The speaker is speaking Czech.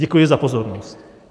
Děkuji za pozornost.